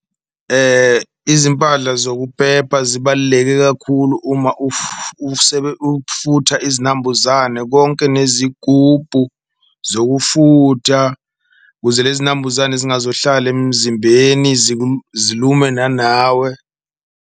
Izimpahla zokuphepha zibaluleke kakhulu uma ufutha izinambuzane konke nezigubhu zokufutha, kuze lezi nambuzane zingazohlala emzimbeni zilume nanawe.